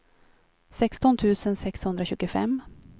sexton tusen sexhundratjugofem